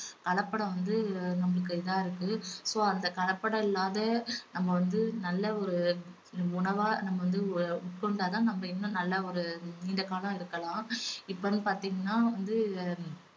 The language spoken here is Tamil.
கலப்படம் வந்து நம்மளுக்கு இதா இருக்கு so அந்த கலப்படம் இல்லாத நம்ம வந்து நல்ல ஒரு உணவா நம்ம வந்து உட்கொண்டா தான் நம்ம இன்னும் நல்ல ஒரு நீண்ட காலம் இருக்கலாம் இப்ப வந்து பாத்தீங்கன்னா வந்து